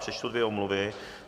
Přečtu dvě omluvy.